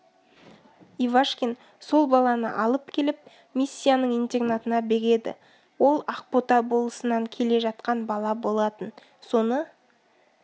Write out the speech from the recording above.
ивашкин сол баланы алып келіп миссияның интернатына береді ол ақбота болысынан келе жатқан бала болатын соны